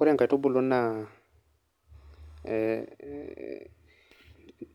Ore nkaitubulu na